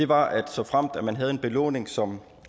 var at såfremt man havde en belåning som